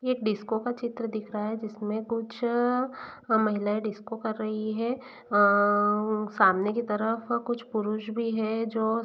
disco का चित्र दिखाई दे रहा है जिसमें कुछ महिलाएं डिस्को कर रही है सामने की तरफ कुछ पुरुष भी है जो --